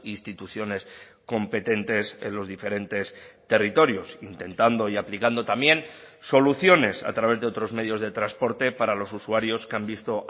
instituciones competentes en los diferentes territorios intentando y aplicando también soluciones a través de otros medios de transporte para los usuarios que han visto